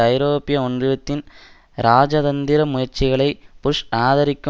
ஐரோப்பிய ஒன்றியத்தின் இராஜதந்திர முயற்சிகளை புஷ் ஆதரிக்க